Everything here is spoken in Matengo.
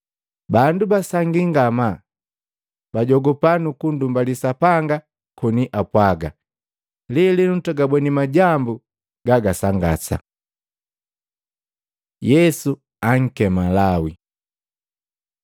Boti basangii ngamaa! Bajogupa nuku nndumbali Sapanga koni apwaga, “Lelenu twagabweni majambu gagasangasa!” Yesu ankema Lawi Matei 9:9-13; Maluko 2:13-17